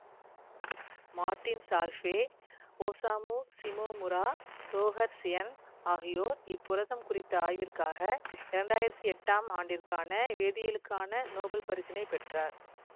ர்டின் Chalfie Osamu Shimomura Roger Tsien ஆகியோர் இப்புரதம் குறித்த ஆய்விற்காக இரண்டு ஆயிரத்தி எட்டாம் ஆண்டிற்கான வேதியியலுக்கான நோபல் பரிசினைப் பெற்றார்